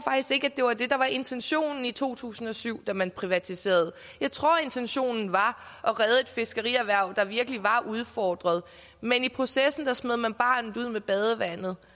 ikke det var det der var intentionen i to tusind og syv da man privatiserede jeg tror intentionen var at redde et fiskerierhverv der virkelig var udfordret men i processen smed man barnet ud med badevandet